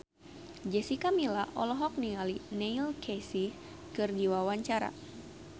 Jessica Milla olohok ningali Neil Casey keur diwawancara